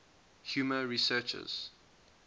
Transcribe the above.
humor researchers